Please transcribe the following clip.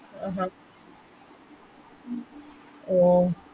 ആഹ് അഹ് അഹ്